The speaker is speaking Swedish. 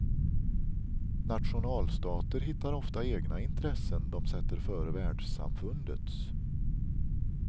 Nationalstater hittar ofta egna intressen de sätter före världssamfundets.